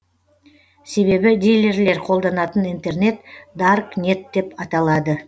себебі дилерлер қолданатын интернет дарк нет деп аталады